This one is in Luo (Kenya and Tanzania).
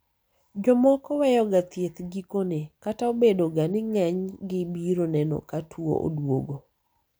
jomoko weyoga thieth gikone ,kata obedo ga ni ng'eny gi biro neno ka tuo oduogo